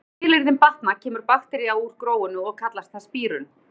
Þegar skilyrðin batna kemur bakterían úr gróinu og kallast það spírun.